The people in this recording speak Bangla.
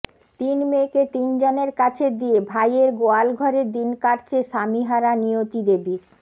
তিন মেয়েকে তিন জনের কাছে দিয়ে ভাইয়ের গোয়ালঘরে দিন কাটছে স্বামীহারা নিয়তিদেবীর